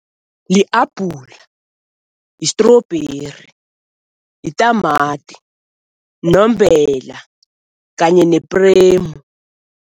Li-abhulu, yi-strawberry, yitamati, nombela kanye nepremu.